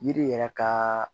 Yiri yɛrɛ ka